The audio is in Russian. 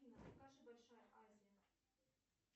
афина покажи большая азия